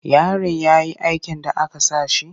Yarin ya yi aikin da aka sa shi?